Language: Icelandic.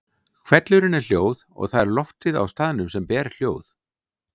Hvellurinn er hljóð og það er loftið á staðnum sem ber hljóð.